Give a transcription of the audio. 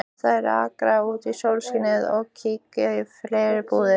Þær arka út í sólskinið og kíkja í fleiri búðir.